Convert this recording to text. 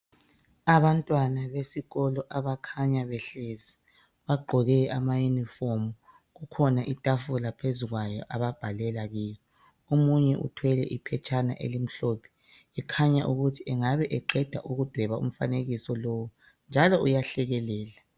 Abantwana besikolo abakhanya behlezi bagqoke amayunifomu, kukhona itafula phezu kwayo ababhalela kiyo. Omunye uthwele iphetshana elimhlophe ekhanya ukuthi engabe eqeda ukudweba umfanekiso lo njalo uyahlekelela.